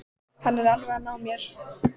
Hann var alveg að ná mér